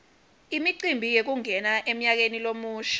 imicimbi yekungena emnyakeni lomusha